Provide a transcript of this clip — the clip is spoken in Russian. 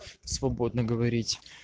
свободно говорить